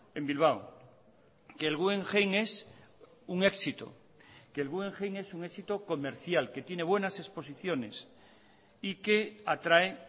en bilbao que el guggenheim es un éxito que el guggenheim es un éxito comercial que tiene buenas exposiciones y que atrae